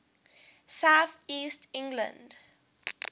south east england